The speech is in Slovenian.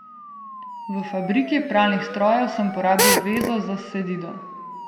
V fabriki pralnih strojev sem porabil vezo za Sedido.